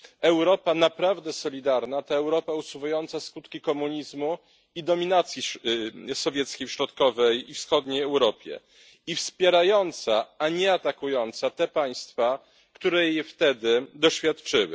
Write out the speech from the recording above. Europa naprawdę solidarna to Europa usuwająca skutki komunizmu i dominacji sowieckiej w środkowej i wschodniej Europie, i wspierająca, a nie atakująca te państwa, które jej wtedy doświadczyły.